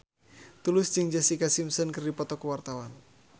Tulus jeung Jessica Simpson keur dipoto ku wartawan